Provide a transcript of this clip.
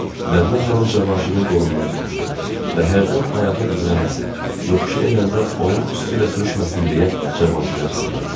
Mədinə xanım Cavanşirin qolundan tutmuşdu və hərdən ayağı büdrənməsin, yoxuşu enəndə onun üstü ilə sürüşməsin deyə Cavanşirə qısılırdı.